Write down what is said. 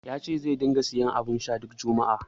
Ya ce zai ringa siyan abun sha duk juma'a.